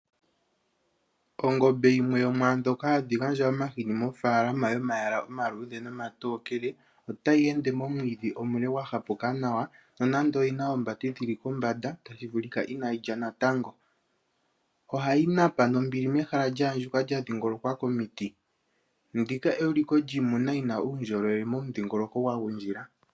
Ongombe yimwe yo mwaa ndhoka hadhi gandja omahini mofaalama yomayala omaluudhe nomatokele otayi ende momwiidhi omule gwa hapuka nawa nonando oyi na oombati dhi li kombanda, tashi vulika inaayi lya natango. Ohayi napa nombili mehala lya andjuka lya dhingolokwa komiti. Ndika euliko lyiimuna yi na uundjolowele momudhingoloko gwa gundjila.